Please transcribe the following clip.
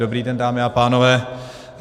Dobrý den, dámy a pánové.